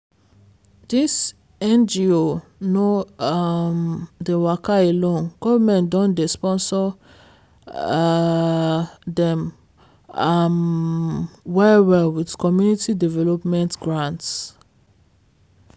dis ngo no um dey waka alone govt don dey sponsor um dem um well well with community development grants.